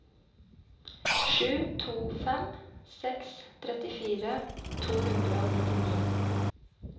sju to fem seks trettifire to hundre og nittini